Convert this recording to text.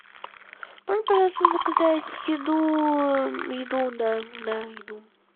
можно пожалуйста заказать еду еду да да еду